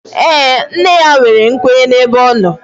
Ee, nne ya nwere nkwenye ebe ọ nọ